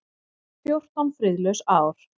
Fjórtán friðlaus ár.